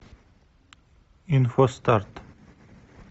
инфостарт